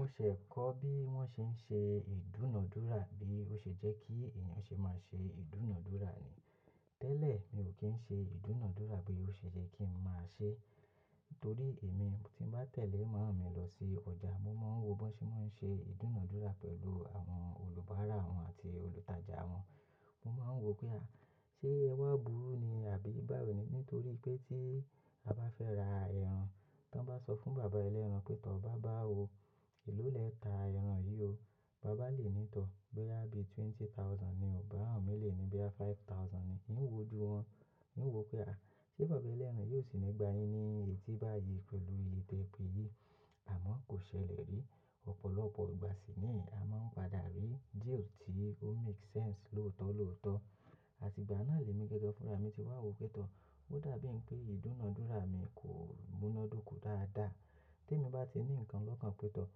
Mo ṣẹ̀ kọ́ bí wọ́n ṣé ń ṣe ìdúnàádúrà, bí ó ṣe jẹ́ kí èèyàn ṣe má ṣe ìdúnàádúrà ni. Tẹ́lẹ̀ mi ò kí ń ṣe ìdúnàádúrà bí ó ṣe jẹ́ kí ń má ṣe. Nítorí èmi tí bá tẹ̀lé màámi lọ sí ọjà, mo máa ń wo bí wọ́n ṣe máa ń ṣe ìdúnàádúrà pẹ̀lú àwọn olùbárà wọn àti olùtajà wọn. Mo máa ń wò pé à, ṣé ẹwà búru ni àbí báwo ni? Nítorí pé tí a bá fẹ́ ra ẹran, tí wọ́n bá sọ fún bàbá ẹlẹ́ran pé, "Tọ̀ bá bà o, èló lè nta ẹran yìí o." Bàbá lè ní tọ̀ pé, "Bí à bí twenty thousand ni o," bàbá mi lè ní bí à five thousand ni. N ó wò ju wọn, n ó wò pé à, ṣé bàbá ẹlẹ́ran yóò sì ní gba yín ní etí báyìí pẹ̀lú iye tẹ́ pe yìí? Àmọ́ kò ṣẹlẹ̀ rí, ọ̀pọ̀lọpọ̀ ìgbà sì ni a máa ń padà rí díè ò tí ó make sense lóòótọ́ lóòótọ́. Àti ìgbà náà lèmi gẹ́gẹ́ fúnra mi ti wá wò pé tọ̀, ó dàbí ń pé ìdúnàádúrà mi kò múná dóko dáadáa. Tí èmi bá ti ní nǹkan lọ́kàn pé tọ̀,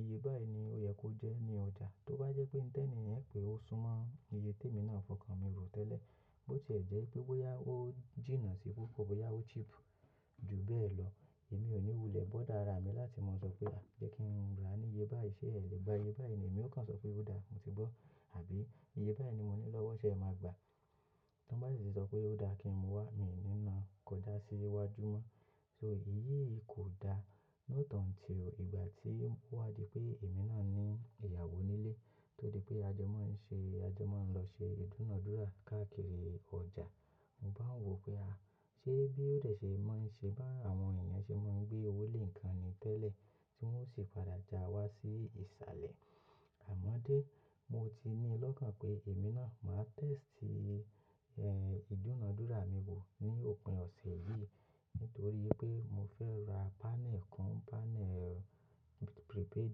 iye báyìí ni ó yẹ kó jẹ́ ní ọjà. Tó bá jẹ́ pé ńtẹnìyẹn pé ó súnmọ́ iye tí èmi náà fọkàn mi rò tẹ́lẹ̀, bó ti jẹ́ pé bóyá ó jìnnà sí i púpọ̀, bóyá ó cheap jù bẹ́ẹ̀ lọ, èmi ò ní wulẹ̀ bọ́dà ara mi láti má sọ pé, "À, jẹ́ kí n ra ní iye báyìí." Ṣé ẹ lè gba iye báyìí ni? Èmi ó kàn sọ pé, "Ó dáa, mo ti gbọ́." Àbí, "Iye báyìí ni mo ní lọ́wọ́, ṣé ẹ máa gbà á?" Tí wọ́n bá sì ṣọ pé, "Ó dáa kí n mú wá," mi ò ní na kọjá sí iwájú mọ́. So ìyí kò da lọ́tàn tí ìgbà tí wá di pé èmi náà ní ìyàwó nílé. Torí pé ajọ mọ́ ń ṣe, ajọ mọ́ ń lọ ṣe ìdúnàádúrà káàkiri ọjà. Mo bá ń wò pé à, ṣé bí ó dẹ̀ ṣe máa ń ṣe bá àwọn èèyàn ṣe máa ń gbé owó lé nǹkan ni tẹ́lẹ̀ tí wọ́n ó sì padà ja wá sí ìsàlẹ̀. Àmọ́ dé, mo ti ní lọ́kàn pé èmi náà máa test, eh, ìdúnàádúrà mi wò ní òpin ọ̀sẹ̀ yìí. Nítorí pé mo fẹ́ ra panel kàn, panel prepaid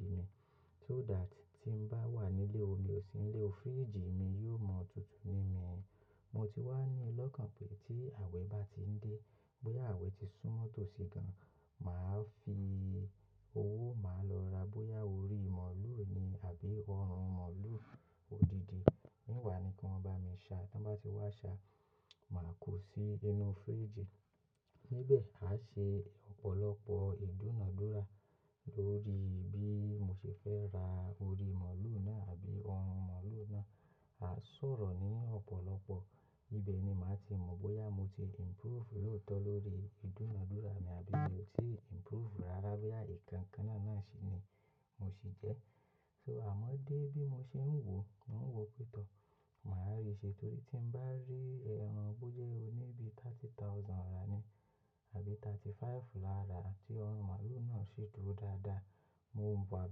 mi. So dá tí, tí ń bá wà nílé o, mi ò sí nílé o, fridge mi yóò mọ́ tutù mini mini. Mo ti wá ní lọ́kàn pé tí àwẹ̀ bá ti ń dé, pé àwẹ̀ ti súnmọ́ tòsí gan, màá fi owó, màá lọ ra bóyá orí mọ̀lú ni àbí ọrùn mọ̀lú òdìdì. Mí wà ni kí wọ́n bá mi ṣa, tí wọ́n bá ti wá ṣa, màá kó sí inú fridge. Níbẹ̀, àá ṣe ọ̀pọ̀lọpọ̀ ìdúnàádúrà lórí bí mo ṣe fẹ́ ra orí mọ̀lú náà àbí ọrùn mọ̀lú náà. À sọ̀rọ̀ ní ọ̀pọ̀lọpọ̀, ibẹ̀ ni màá ti mọ̀ bóyá mo ti improve lóòótọ́ lórí ìdúnàádúrà mi àbí mi ò tí improve rárá bóyá ìkankan náà náà ṣì ni mo sì jẹ́. So àmọ́ dé bí mo ṣe ń wò, n ó wò pé tọ̀, màá rí i ṣe torí tí ń bá rí ẹran bó jẹ́ ó níbi thirty thousand rárá ni, àbí thirty five lára tí ọrùn mọ̀lú náà ṣì dúró dáadáa, mo ń wa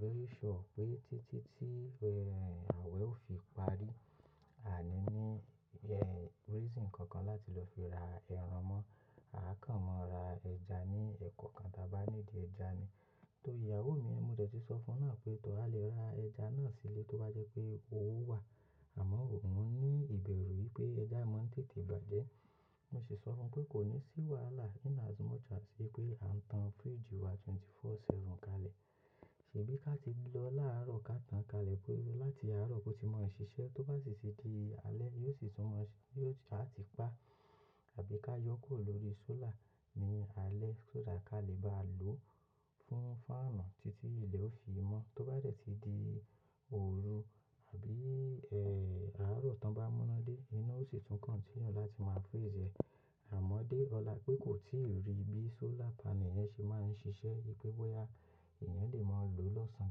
very sure pé títí tí, ẹ́, àwẹ̀ ó fi parí, ào ní ní, ẹ́, reason kankan láti lọ fi ra ẹran mọ́. Àá kàn mọ́ ra ẹja ní ẹ̀kọ́okan tí a bá ní di ẹja mi. Torí ìyàwó mi, mo dètí sọ fún un pé, "Tọ̀ a lè ra ẹja náà sílé tó bá jẹ́ pé owó wà." Àmọ́ òun ní ìbẹ̀rù wípé ẹja mọ́ ń tètè bàjẹ́. Mo sì sọ fún pé kò ní sí wàhálà in as much as pé à ń tan fridge wá wákàtí mẹ́rìnlélógún, ọjọ́ méje kalẹ̀. Ṣèbí ká ti lọ láàárọ̀ ká tan kalẹ̀ pé láti àárọ̀ kó ti máa ń ṣiṣẹ́, tó bá sì ti di alẹ́ yóò sì tún mọ́ ṣí, yóò, àá ti pa àbí ká yọ kó lórí solar ní alẹ́ tó dà ká lè bá lò ó fún fánù títí ilẹ̀ ó fi mọ́. Tó bá dẹ̀ ti di òru àbí, ẹ́, àárọ̀ tán bá múra dé, inú ó sì tún continue láti má freeze ẹ. Àmọ́ dé ọ̀la pé kò tíì rí bí solar panel yẹn ṣe máa ń ṣiṣẹ́ yípé bóyá èèyàn lè máa lò ó lọ́sàn-án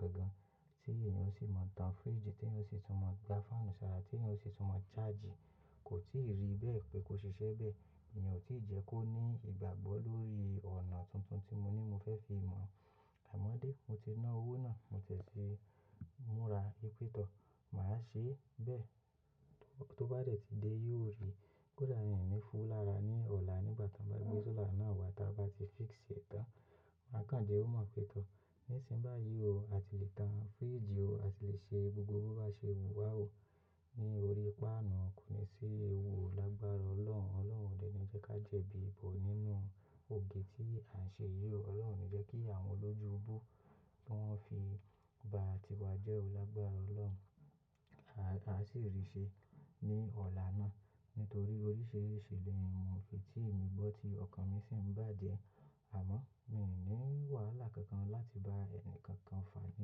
gan gan tí èèyàn ó sì máa ń tan fridge, tí èèyàn ó sì tún máa ń gba fánù ṣàrà, tí èèyàn ó sì tún máa ń charge. Kò tíì rí bẹ́ẹ̀ pé kó ṣiṣẹ́ bẹ́ẹ̀, èèyàn ò tí ì jẹ́ kó ní ìgbàgbọ́ lórí ọ̀nà tuntun tí mo ní mo fẹ́ fi mọ̀. Àmọ́ dé, mo ti ná owó náà, mo tẹ́tí múra pé tọ̀, màá ṣe bẹ́ẹ̀. Tó bá dẹ̀ ti dé yóò rí. Kò dá in ni fún lára ní ọ̀la nígbà tí wọ́n bá gbé solar náà wá tí a bá ti fix ṣe tán. Màá kàn jẹ́ ó mọ̀ pé tọ̀, nísìnbáyìí o, a ti lè tan fridge o, a ti lè ṣe gbogbo bó bá ṣe wù wá o. Ní orí páànù kò ní sí ewu olágbára Ọlọ́run. Ọlọ́run òdẹ ni jẹ́ ká jẹ̀bi ipò nínú ògè tí à ń ṣe yìí o. Ọlọ́run ni jẹ́ kí àwọn olójú bú tí wọ́n fi ba à ti wa jẹ́ olágbára Ọlọ́run. A sì rí i ṣe ní ọ̀la náà. Nítorí oríṣìíríṣìí ìlérí ìmùúfe tí èmi gbọ́ tí ọkàn mi sì ń bàjẹ́. Àmọ́ mi ò ní wàhálà kankan láti bá ẹnìkankan fàá ní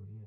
orí ẹ.